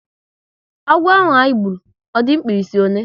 Agwo ahụ anyị gburu, ọ di mkpirisi ọle?